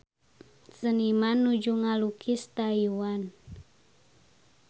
Seniman nuju ngalukis Taiwan